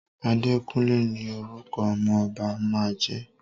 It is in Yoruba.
Àdékúnlé ní orúkọ ọmọ ọba máa jẹ́.